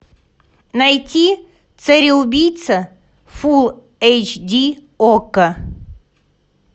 найти цареубийца фулл эйч ди окко